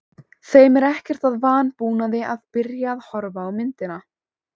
Þeim er ekkert að vanbúnaði að byrja að horfa á myndina.